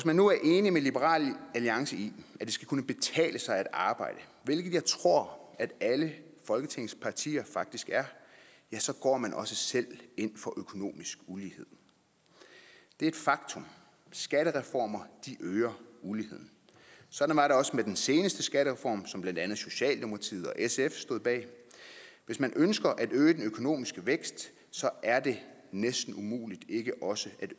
man nu er enig med liberal alliance i at det skal kunne betale sig at arbejde hvilket jeg tror at alle folketingets partier faktisk er ja så går man også selv ind for økonomisk ulighed det er et faktum at skattereformer øger uligheden sådan var det også med den seneste skattereform som blandt andet socialdemokratiet og sf stod bag hvis man ønsker at øge den økonomiske vækst er det næsten umuligt ikke også at